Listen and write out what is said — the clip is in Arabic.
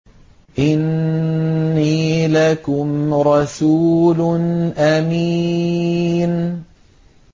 إِنِّي لَكُمْ رَسُولٌ أَمِينٌ